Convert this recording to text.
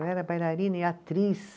Eu era bailarina e atriz.